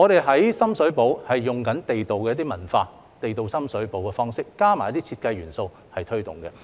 在深水埗，我們則以地道文化、地道的深水埗方式，加上一些設計元素來推動。